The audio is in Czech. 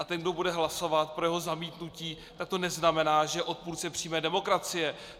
A ten, kdo bude hlasovat pro jeho zamítnutí, tak to neznamená, že je odpůrcem přímé demokracie.